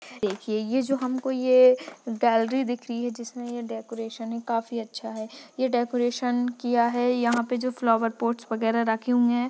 देखिये ये जो हमकों ये गैलरी दिख रही है जिसमें ये डेकोरेशन है काफी अच्छा है ये डेकोरेशन किया है यहाँ पे जो फ्लोवर पोट्स वगैरह रखे हुए है।